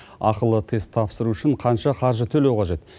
ақылы тест тапсыру үшін қанша қаржы төлеу қажет